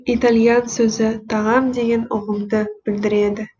итальян сөзі тағам деген ұғымды білдіреді